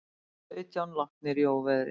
Sautján látnir í óveðri